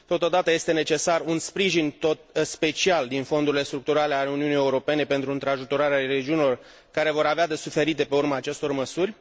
Totodată este necesar un sprijin special din fondurile structurale ale Uniunii Europene pentru întrajutorarea regiunilor care vor avea de suferit de pe urma acestor măsuri.